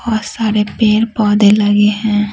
बहुत सारे पेड़-पौधे लगे हैं।